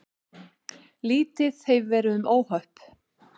Lítið hefur verið um óhöpp